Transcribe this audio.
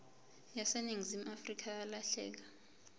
yaseningizimu afrika yalahleka